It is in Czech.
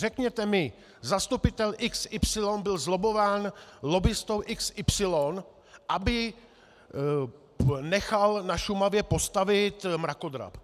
Řekněte mi zastupitel XY by zlobbován lobbistou XY, aby nechal na Šumavě postavit mrakodrap.